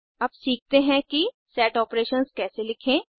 अब सीखतें हैं कि सेट आपरेशंस कैसे लिखें